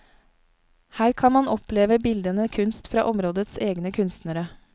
Her kan man oppleve bildende kunst fra områdets egne kunstnere.